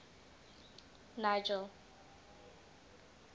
nigel